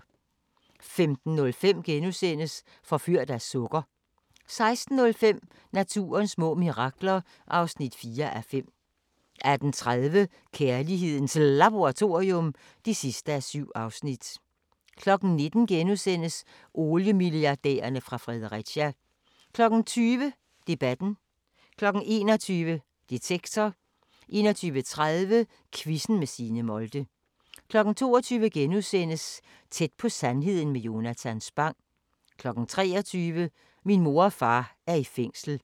15:05: Forført af sukker * 16:05: Naturens små mirakler (4:5) 18:30: Kærlighedens Laboratorium (7:7) 19:00: Oliemilliardærerne fra Fredericia * 20:00: Debatten 21:00: Detektor 21:30: Quizzen med Signe Molde 22:00: Tæt på sandheden med Jonatan Spang * 23:00: Min mor og far er i fængsel